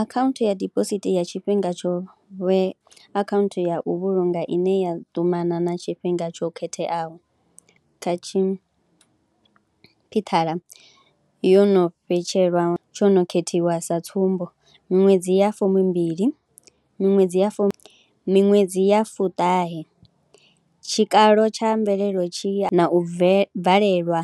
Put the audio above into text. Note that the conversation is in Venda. Akhaunthu ya dibosithi ya tshifhinga tsho vhe akhaunthu ya u vhulunga ine ya ṱumana na tshifhinga tsho khetheaho, kha tshi yo no vhetshelwa, tsho no khethiwa sa tsumbo miṅwedzi ya fumbili, miṅwedzi ya fu, miṅwedzi ya fuṱahe. Tshikalo tsha mvelelo tshi, na u bvelelwa